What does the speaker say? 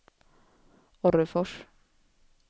Orrefors